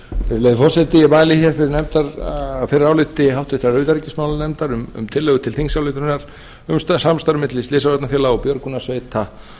virðulegi forseti ég mæli fyrir áliti háttvirtrar utanríkismálanefndar um tillögu til þingsályktunar um samstarf milli slysavarnafélaga og björgunarsveita